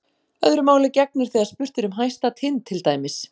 Öðru máli gegnir þegar spurt er um hæsta tind til dæmis.